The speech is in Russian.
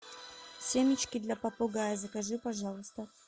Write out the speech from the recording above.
семечки для попугая закажи пожалуйста